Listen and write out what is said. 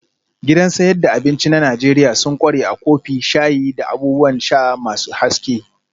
Gidan sayad da abinci na Najeriya sun ƙware a kofi, shayi, da abubuwan sha masu haske